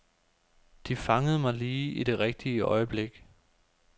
De fangede mig lige i det rigtige øjeblik.